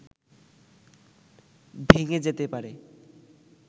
ভেঙে যেতে পারে